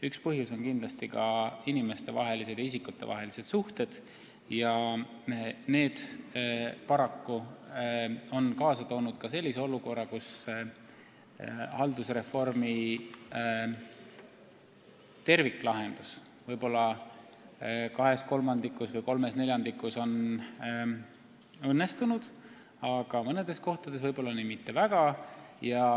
Üks põhjus on kindlasti ka isikutevahelised suhted, mis on paraku kaasa toonud sellise olukorra, kus haldusreformi terviklahendus on kahes kolmandikus või kolmes neljandikus kohtadest õnnestunud, aga mõnes kohas võib-olla mitte nii väga.